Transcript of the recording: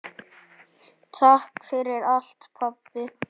Takk fyrir allt pabbi.